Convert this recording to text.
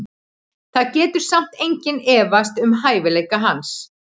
Það getur samt enginn efast um hæfileika hans.